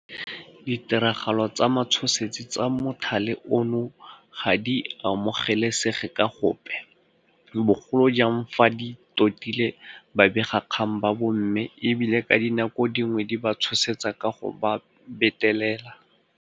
Ditiragalo tsa matshosetsi tsa mothale ono ga di amogelesege ka gope, bogolo jang fa di totile babegakgang ba bomme e bile ka dinako dingwe di ba tshosetsa ka go ba betelela.